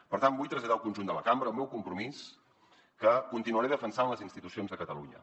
per tant vull traslladar al conjunt de la cambra el meu compromís que continuaré defensant les institucions de catalunya